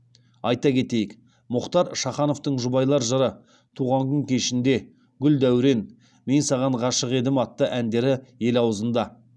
айта кетейік мұхтар шахановтың жұбайлар жыры туған күн кешінде гүл дәурен мен саған ғашық едім атты әндері ел аузында